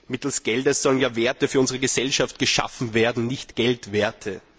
Mit Geld sollen Werte für unsere Gesellschaft geschaffen werden, nicht Geldwerte!